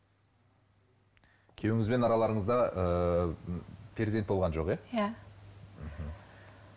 күйеуіңізбен араларыңызда ыыы перзент болған жоқ иә иә мхм